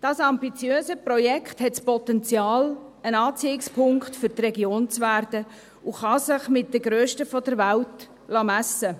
Dieses ambitiöse Projekt hat das Potenzial, ein Anziehungspunkt für die Region zu werden, und kann sich mit den grössten der Welt messen lassen.